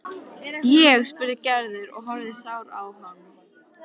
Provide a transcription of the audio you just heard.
Ég? spurði Gerður og horfði sár á hann.